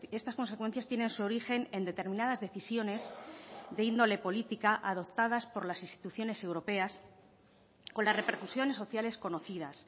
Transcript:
estas consecuencias tienen su origen en determinadas decisiones de índole política adoptadas por las instituciones europeas con las repercusiones sociales conocidas